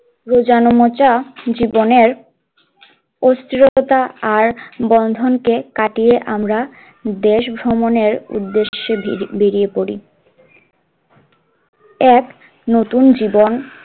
জীবনের অস্থিরতা আর বন্ধন কে কাটিয়ে আমরা দেশ ভ্রমণের উদ্দেশ্যে বে~বেরিয়ে পরি, এক নতুন জীবন,